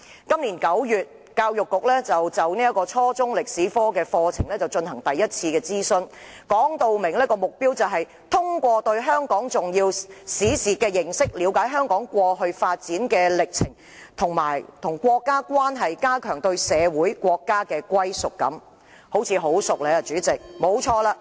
今年9月，教育局就初中歷史科課程進行第一次諮詢，目標訂明是通過對香港重要史事的認識，了解香港過去發展的歷程，以及與國家的關係，加強對社會、國家的歸屬感——用字似曾相識。